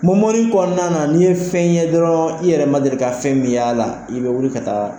Mɔmɔni kɔnɔna na n'i ye fɛn ye dɔrɔn i yɛrɛ man deli ka fɛn min y'a la i bɛ wuli ka taa